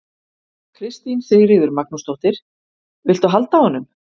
Kristín Sigríður Magnúsdóttir: Viltu halda á honum?